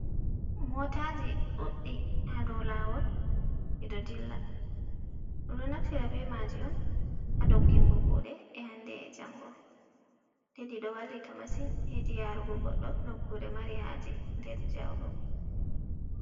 Motaji Ɗuɗɗi Hado Lawol Ɗiɗo Dilla, Ɗum Ɗon Naftira be Maji'on ha Doggingo Kuude E Hande E Jango, Ɗiɗo Wallita Masin Hedi Yarugu Godɗo Nokkure Mari Haje Nder Jauɗum.